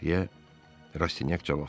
deyə Raşinyak cavab verdi.